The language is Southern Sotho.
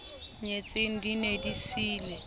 nyetsweng di ne di siile